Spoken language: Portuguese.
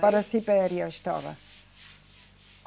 Para a Sibéria estava.